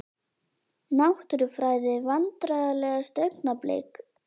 Náttúrufræði Vandræðalegasta augnablik?